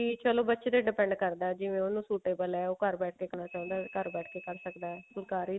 ਵੀ ਚਲੋ ਬੱਚੇ ਤੇ depend ਕਰਦਾ ਜਿਵੇਂ ਉਹਨੂੰ suitable ਹੈ ਉਹ ਘਰ ਬੈਠ ਕੇ ਕਰਨਾ ਚਾਹੁੰਦਾ ਤਾਂ ਘਰ ਬੈਠ ਕੇ ਕਰ ਸਕਦਾ ਫੁਲਕਾਰੀ